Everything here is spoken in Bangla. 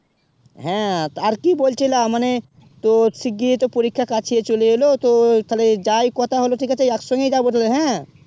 হেঁ আর কি বলছিলাম মানে তো সিগ্রহে পরীক্ষা কাছে চলে এলো তো যায় কথা হলো ঠিক আছে এক সংগে ই যাবো তালে হেঁ